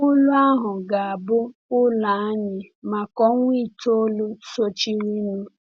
Ụlù ahụ ga-abụ ụlọ anyị maka ọnwa itoolu sochirinụ.